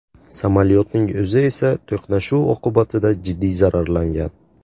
Samolyotning o‘zi esa to‘qnashuv oqibatida jiddiy zararlangan.